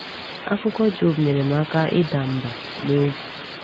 Akụkọ Job nyere m aka ịda mbà n’obi.